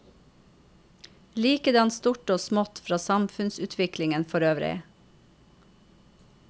Likedan stort og smått fra samfunnsutviklingen forøvrig.